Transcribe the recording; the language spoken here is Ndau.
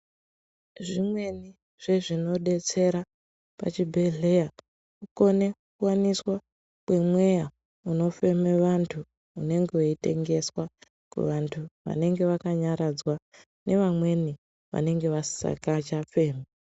Zvimweni zvezvinobetsera pachibhedhleya kukone kuwaniswa kwemweya unofeme vantu unenge weitengeswa kuvantu vanenge vakanyaradzwa nevamweni vanenge vasisakachafemi.